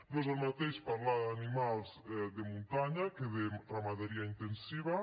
no és el mateix parlar d’animals de muntanya que de ramaderia intensiva